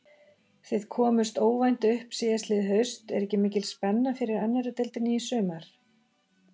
Þið komust óvænt upp síðastliðið haust, er ekki mikil spenna fyrir annarri deildinni í sumar?